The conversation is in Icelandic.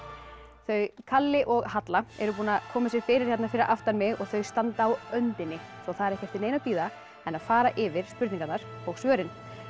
þau kalli og Halla eru búin að koma sér fyrir hérna fyrir aftan mig og þau standa á öndinni svo það er ekki eftir neinu að bíða en að fara yfir spurningarnar og svörin